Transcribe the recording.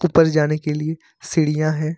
ऊपर जाने के लिए सीढ़ियां हैं।